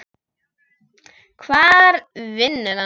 Hvar vinnur hann?